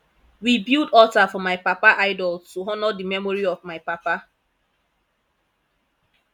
we build alter for my papa idol to honour the memory of my papa